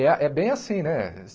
É é bem assim, né?